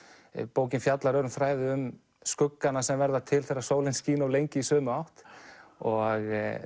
bókin fjallar öðrum þræði um skuggana sem verða til þegar sólin skín of lengi í sömu átt og